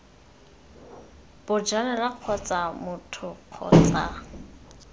bojalwa kgotsa b motho kgotsa